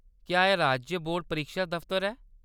क्या एह्‌‌ राज्य बोर्ड परीक्षा दफतर ऐ ?